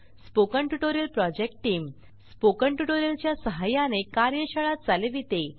spoken tutorial project team spoken tutorial च्या सहाय्याने कार्यशाळा चालविते